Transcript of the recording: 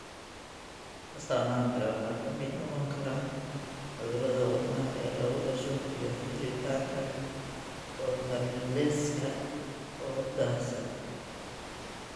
Astaamaha kale waxaa ka mid noqon kara cudurrada wadnaha ee lagu dhasho iyo xiritaanka fontanelleska oo daahsan.